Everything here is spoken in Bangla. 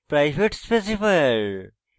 private specifier